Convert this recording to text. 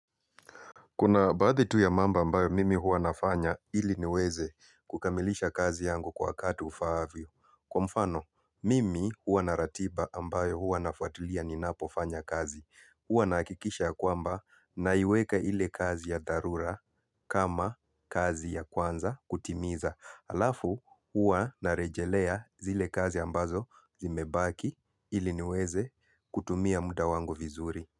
Kuna baadhi tu ya mambo ambayo mimi huwa nafanya ili niweze kukamilisha kazi yangu kwa wakati ufaavyo. Kwa mfano, mimi huwa na ratiba ambayo huwa nafuatilia ninapofanya kazi. Huwa nahakikisha kwamba naiweka ile kazi ya dharura kama kazi ya kwanza kutimiza. Alafu huwa narejelea zile kazi ambazo zimebaki ili niweze kutumia muda wangu vizuri.